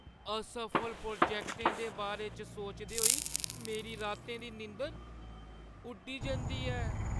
असफल प्रोजैक्टै दे बारे च सोचदे होई मेरी रातें दी नींदर उड्डी जंदी ऐ।